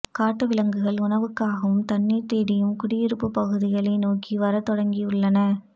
காட்டு விலங்குகள் உணவுக்காகவும் தண்ணீர் தேடியும் குடியிருப்புப் பகுதிகளை நோக்கி வரத்தொடங்கியுள்ளன